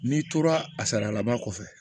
N'i tora a sarala ba kɔfɛ